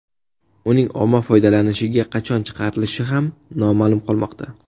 Uning omma foydalanishiga qachon chiqarilishi ham noma’lum qolmoqda.